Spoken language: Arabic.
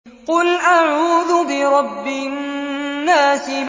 قُلْ أَعُوذُ بِرَبِّ النَّاسِ